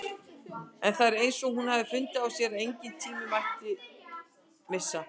En það er eins og hún hafi fundið á sér að engan tíma mætti missa.